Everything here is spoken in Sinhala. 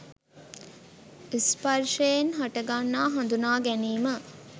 ස්පර්ශයෙන් හටගන්නා හඳුනාගැනීම